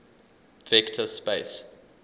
vector space